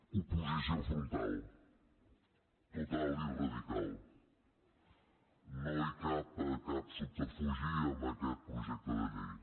oposició frontal total i radical no hi cap cap subterfugi en aquest projecte de llei